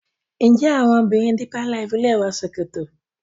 njé àwọn obìrin deeper life lẹ wò ṣòkòtò?